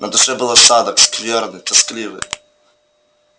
на душе был осадок скверный тоскливый